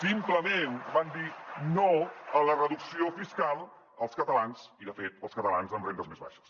simplement van dir no a la reducció fiscal als catalans i de fet als catalans amb rendes més baixes